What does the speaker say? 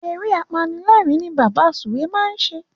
Eré apanilérìn ni Bàbá Sùwé máa ń ṣe.